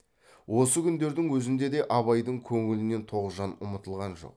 осы күндердің өзінде де абайдың көңілінен тоғжан ұмытылған жоқ